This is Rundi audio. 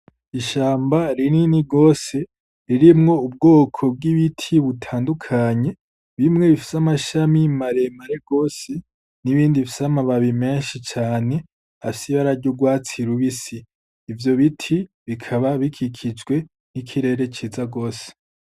Ishamba rinini gose ririmwo ubwoko bw'ibiti butandukanye: bimwe bifis'amababi maremare gose n'ibindi bifis'amababi menshi cane afis'ibara ry'urwatsi rubisi ivyo biti bikaba bikikijwe n'ikirere ciza gose.